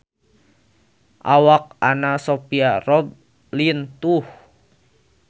Awak Anna Sophia Robb lintuh